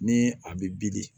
Ni a bɛ bili